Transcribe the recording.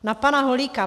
Na pana Holíka.